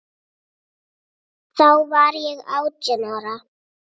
Þá var ég átján ára.